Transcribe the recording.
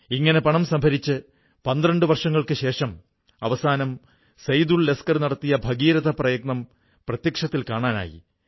ഇങ്ങനെ പണം സംഭരിച്ച് 12 വർഷങ്ങൾക്കുശേഷം അവസാനം സൈദുൾ ലസ്കർ നടത്തിയ ഭഗീരഥ പ്രയത്നം പ്രത്യക്ഷത്തിൽ കാണാനായി